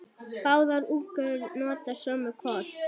Báðar útgáfur nota sömu kort.